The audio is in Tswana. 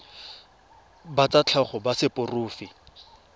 ba tsa tlhago ba seporofe